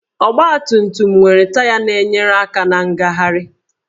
Ọgbatumtum nwere taya na-enyere aka na ngagharị